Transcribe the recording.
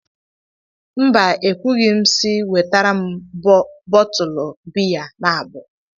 Mba, ekwughị m si wetara m bọtụlụ biya naabọ